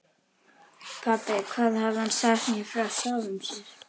Pabbi, hvað hafði hann sagt mér frá sjálfum sér?